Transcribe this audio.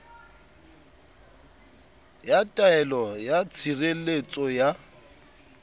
ya taelo ya tshireletso ya